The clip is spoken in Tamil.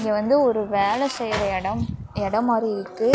இது வந்து ஒரு வேல செய்ற எடம் எடம் மாறி இருக்கு.